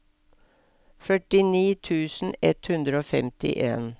førtini tusen ett hundre og femtien